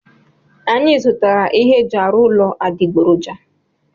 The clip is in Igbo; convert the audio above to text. Anyị zụtara ihe eji arụ ụlọ adịgboroja.